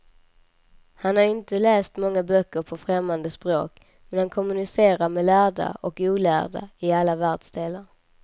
Han har inte läst många böcker på främmande språk, men han kommunicerar med lärda och olärda i alla världsdelar.